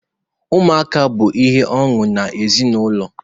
Ụmụaka bụ ihe ọṅụ n'ezinụlọ.